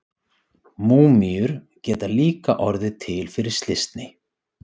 Múmíur geta líka orðið til fyrir slysni.